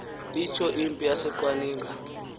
itsho impi yaseqwaninga